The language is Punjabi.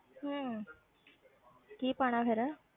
ਹਮ ਕੀ ਪਾਉਣਾ ਫਿਰ।